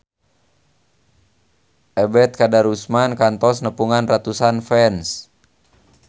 Ebet Kadarusman kantos nepungan ratusan fans